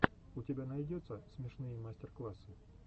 у тебя найдется смешные мастер классы